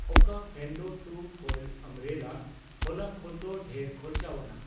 ᱚᱠᱟ ᱯᱷᱮᱱᱰᱳ two fold umbrella ᱦᱚᱞᱟ ᱠᱷᱚᱱᱫᱚ ᱰᱷᱮᱨ ᱠᱷᱚᱨᱪᱟᱣᱟᱱᱟᱜ